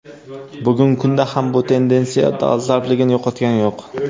Bugungi kunda ham bu tendensiya dolzarbligini yo‘qotgani yo‘q.